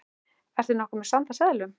Ertu nokkuð með sand af seðlum.